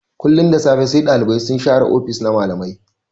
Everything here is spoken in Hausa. Kullun da safe sai Ɗalibai sun share ofis-ofis na malamai.